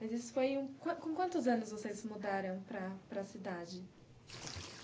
Mas isso foi quan... Com quantos anos vocês mudaram para para a cidade?